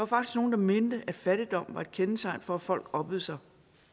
faktisk nogle der mente at fattigdom var et kendetegn for at folk oppede sig